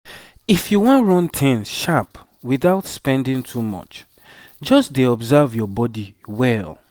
if you wan run things sharp without spending too much just dey observe your body well